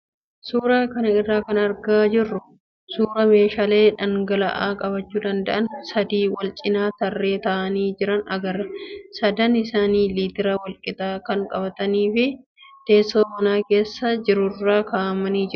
Suuraa kana irraa kan argaa jirru suuraa meeshaalee dhangala'aa qabachuu danda'an sadii wal cinaa tarreen taa'anii jiran agarra. Sadan isaanii liitira wal qixaa kan qabatanii fi teessoo mana keessa jirurra kaa'amanii jiru.